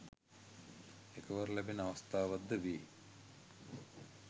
එකවර ලැබෙන අවස්ථාවක්ද වේ